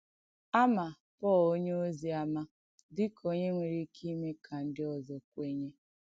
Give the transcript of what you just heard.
À mà Pọ̀l̀ onyèòzì àmà dị̀ kà ònyè nwèrè ìkè ìmè kà ndí òzọ̀ kwènyè.